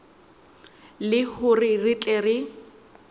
le hore re tle re